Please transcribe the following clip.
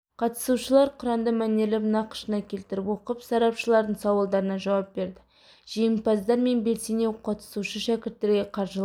қатысушылар құранды мәнерлеп нақышына келтіріп оқып сарапшылардың сауалдарына жауап берді жеңімпаздар мен белсене қатысушы шәкірттерге қаржылай